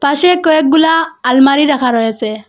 পাশে কয়েকগুলা আলমারি রাখা রয়েসে।